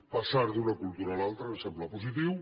passar d’una cultura a l’altra ens sembla positiu